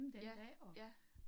Ja, ja